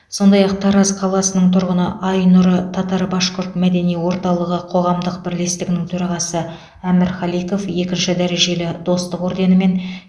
сондай ақ тараз қаласының тұрғыны айнұры татар башқұрт мәдени орталығы қоғамдық бірлестігінің төрағасы амир халиков екінші дәрежелі достық орденімен